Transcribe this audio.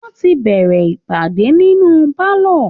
Wọ́n ti bẹ̀rẹ̀ ìpàdé nínú pálọ